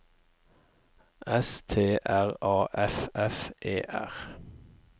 S T R A F F E R